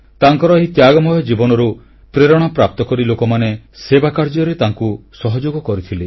ତାଙ୍କର ଏହି ତ୍ୟାଗମୟ ଜୀବନରୁ ପ୍ରେରଣା ପ୍ରାପ୍ତକରି ଲୋକମାନେ ସେବା କାର୍ଯ୍ୟରେ ତାଙ୍କୁ ସହଯୋଗ କରିଥିଲେ